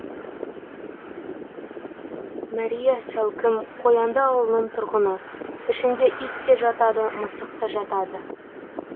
мәрия сәукім қоянды ауылының тұрғыны ішінде ит те жатады мысық та жатады